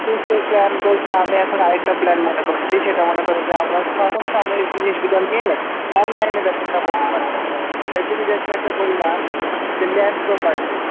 business-র plan বলতে আমি এখন আর একটা plan মনে করছি সেটা মনে করো যে আমরা সমসাময়িক জিনিসগুলো নিয়ে online-এ বেচাকেনা করতে পারি এই তুমি যেরকম একটা বললা যে land property